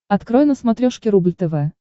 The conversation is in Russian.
открой на смотрешке рубль тв